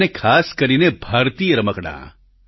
અને ખાસ કરીને ભારતીય રમકડાં